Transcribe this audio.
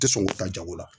Tɛ sɔn ka taa jago la